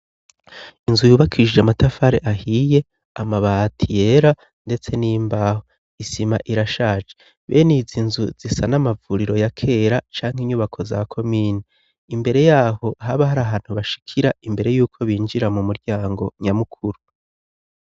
inzu yubakishije amatafari ahiye, amabati yera, ndetse n'imbaho, isima irashaje. benizi inzu zisa n'amavuriro ya kera cangwa inyubako za komine. imbere yaho haba hari ahantu bashikira imbere yuko binjira mu muryango nyamukuru.